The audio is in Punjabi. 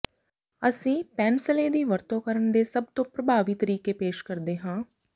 ਅਸੀਂ ਪੈਨਸਲੇ ਦੀ ਵਰਤੋਂ ਕਰਨ ਦੇ ਸਭ ਤੋਂ ਪ੍ਰਭਾਵੀ ਤਰੀਕੇ ਪੇਸ਼ ਕਰਦੇ ਹਾਂ